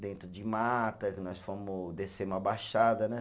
Dentro de mata, que nós fomos, descemos a baixada, né?